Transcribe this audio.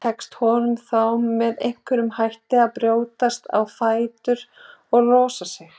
Tekst honum þá með einhverjum hætti að brjótast á fætur og losa sig.